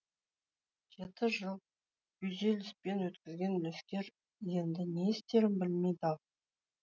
жеті жыл күйзеліспен өткізген үлескер енді не істерін білмей дал